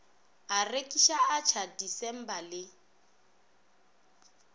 a rekiša atšha disimba le